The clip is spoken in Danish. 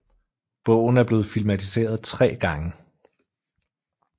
Bogen er blevet filmatiseret 3 gange